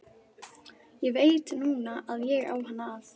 Ég veit núna að ég á hann að.